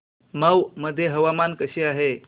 मौ मध्ये हवामान कसे आहे